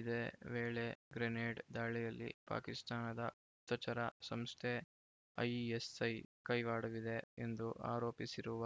ಇದೇ ವೇಳೆ ಗ್ರೆನೇಡ್‌ ದಾಳಿಯಲ್ಲಿ ಪಾಕಿಸ್ತಾನದ ಗುಪ್ತಚರ ಸಂಸ್ಥೆ ಐಎಸ್‌ಐ ಕೈವಾಡವಿದೆ ಎಂದು ಆರೋಪಿಸಿರುವ